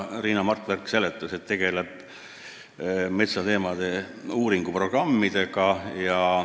Riina Martverk seletas, et see tegeleb metsateemade uuringuprogrammidega.